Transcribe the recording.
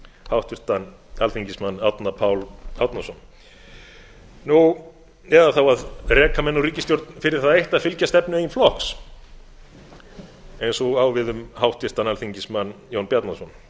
háttvirtan alþingismann árna pál árnason nú eða þá að reka menn úr ríkisstjórn fyrir það eitt að fylgja stefnu eigin flokks eins og á við um háttvirtan alþingismann jón bjarnason